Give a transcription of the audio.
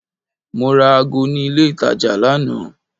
Mo ra ago ní ilé itàjà lánàá.